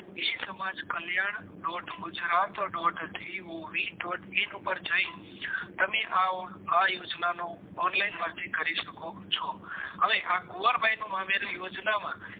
E Samaj Kalyan dot Gujarat dot G O V dot in ઉપર જઈ તમે આ યોજનાનું online અરજી કરી શકો છો હવે આ કુંવરબાઈ નું મામેરુ યોજના માં